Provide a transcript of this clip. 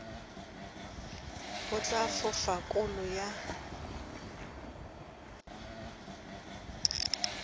go tla fofa kolo ya